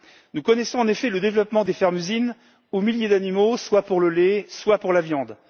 Nous connaissons en effet le développement des fermes usines, aux milliers d'animaux, soit pour le lait, soit pour la viande.